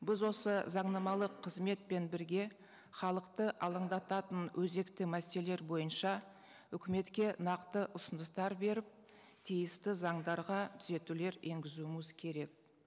біз осы заңнамалық қызметпен бірге халықты алаңдататын өзекті мәселелер бойынша үкіметке нақты ұсыныстар беріп тиісті заңдарға түзетулер енгізуіміз керек